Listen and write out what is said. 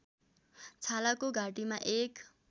छालाको घाँटीमा एक